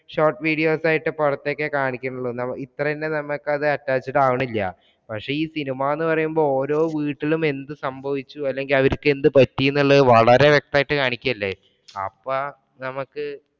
short videos ഒക്കെ ആയിട്ട് കുറച്ചൊക്കെ കാണിക്കുന്നുള്ളൂ. ഇത്ര തന്നെ നമ്മക്കത് attached ആവണില്യ. പക്ഷേ, ഈ cinema ന്ന് പറയുമ്പോള്‍ ഓരോ വീട്ടിലും എന്തു സംഭവിച്ചു? അല്ലെങ്കില്‍ അവര്ക്ക് എന്ത് പറ്റി എന്നുള്ളത് വളരെ വ്യക്തായിട്ട് കാണിക്കുവല്ലേ. അപ്പ നമ്മക്ക്